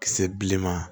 Kisɛ bilenman